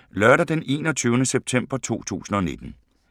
Lørdag d. 21. september 2019